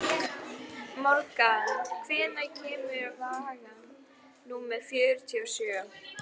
Morgan, hvenær kemur vagn númer fjörutíu og sjö?